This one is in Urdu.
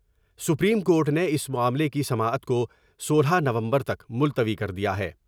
سپریم کورٹ نے اس معاملے کی سماعت کو سولہ نومبر تک ملتوی کر دیا ہے ۔